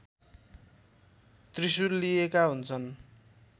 त्रिशूल लिएका हुन्छन्